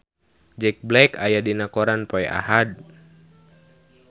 Jack Black aya dina koran poe Ahad